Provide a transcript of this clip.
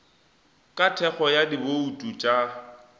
ka thekgo ya dibouto tša